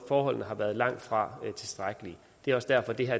forholdene har været langt fra tilstrækkelige det er også derfor at det her